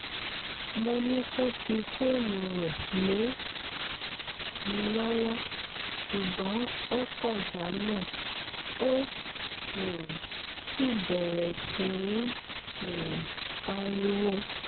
mo ní kó fi fóònù rẹ̀ lé mi lọ́wọ́ ṣùgbọ́n ó kọ̀ jálẹ̀ ó um sì bẹ̀rẹ̀ sí í um pariwo